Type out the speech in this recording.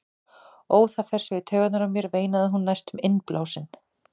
Ó, það fer svo í taugarnar á mér, veinaði hún næstum innblásin.